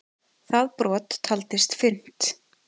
Það brot taldist fyrnt.